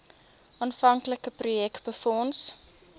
aanvanklike projek befonds